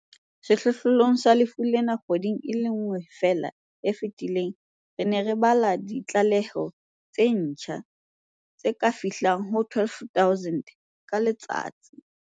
Sehlohlolong sa lefu lena kgweding e le nngwe feela e fetileng, re ne re ba le ditlaleho tse ntjha tse ka fihlang ho 12 000 ka letsatsi.